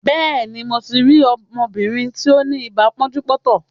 Béèni, mo ti rí ọmọbìnrin tí ó ní ibà pọ́njú-pọ́ntọ̀.